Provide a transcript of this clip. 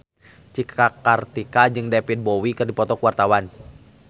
Cika Kartika jeung David Bowie keur dipoto ku wartawan